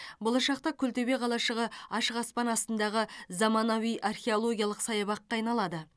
болашақта күлтөбе қалашығы ашық аспан астындағы заманауи архелогиялық саябаққа айналады